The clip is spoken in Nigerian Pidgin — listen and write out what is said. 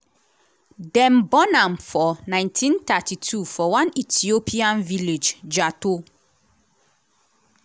dem born am for 1932 for one ethiopian village jato.